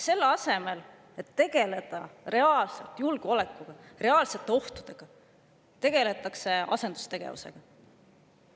Selle asemel, et tegeleda reaalselt julgeolekuga, reaalsete ohtudega, tegeldakse asendustegevusega.